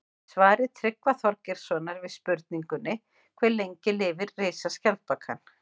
Í svari Tryggva Þorgeirssonar við spurningunni Hve lengi lifir risaskjaldbakan?